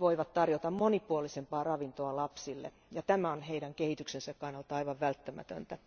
voivat tarjota monipuolisempaa ravintoa lapsille, mikä on heidän kehityksensä kannalta aivan välttämätöntä.